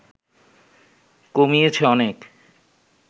কমিয়েছে অনেক